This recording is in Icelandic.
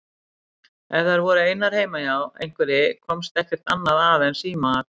Ef þær voru einar heima hjá einhverri komst ekkert annað að en símaat.